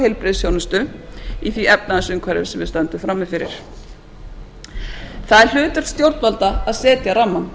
heilbrigðisþjónustu í því efnahagsumhverfi sem við stöndum frammi fyrir það er hlutverk stjórnvalda að setja rammann